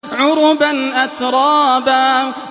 عُرُبًا أَتْرَابًا